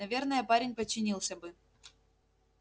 наверное парень подчинился бы